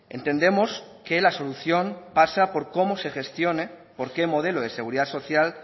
entendemos que la solución pasa por cómo se gestione porqué modelo de seguridad social